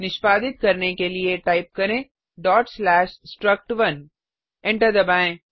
निष्पादित करने के लिए टाइप करें struct1 एंटर दबाएँ